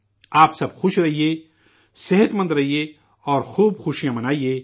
آپ سب خوش رہیں، صحت مند رہیں، سوستھ رہیے، اور خوب خوشی منائیں